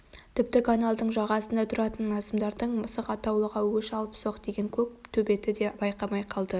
тіпті каналдың жағасында тұратын назымдардың мысық атаулыға өш алыпсоқ деген көк төбеті де байқамай қалды